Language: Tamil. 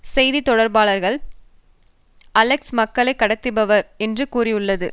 செய்தி தொடர்பாளர் அலெக்ஸ் மக்களை கடத்துபவர் என்று கூறியுள்ளது